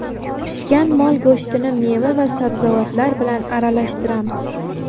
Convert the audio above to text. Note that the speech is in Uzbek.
Pishgan mol go‘shtini meva va sabzavotlar bilan aralashtiramiz.